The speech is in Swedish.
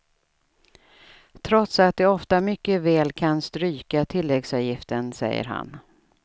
Trots att de ofta mycket väl kan stryka tilläggsavgiften, säger han.